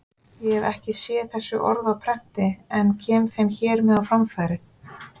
Ég hef ekki séð þessi orð á prenti en kem þeim hér með á framfæri.